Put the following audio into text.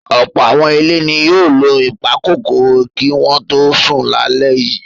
Ọ̀pọ̀ àwọn ilé ni yóò lo ìpakòkòrò kí wọ́n tó sùn lálẹ́ yìí.